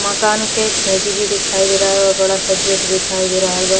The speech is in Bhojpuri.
मकान के खिंड़की भी दिखाई दे रहल बा। बड़ा सा गेट दिखाई दे रहल बा।